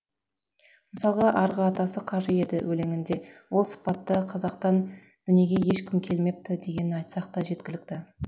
мысалға арғы атасы қажы еді өлеңінде ол сыпатты қазақтан дүниеге ешкім келмепті дегенін айтсақ та жеткілікті